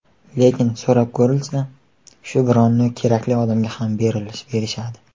Lekin ‘so‘rab ko‘rilsa’, shu bronni kerakli odamga ham berishadi.